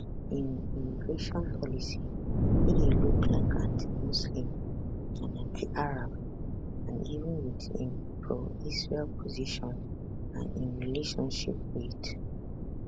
im immigration policy wey dey look like antimuslim and antiarab and even wit im proisrael position and im relationship wit